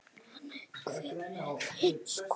En hver er þín skoðun?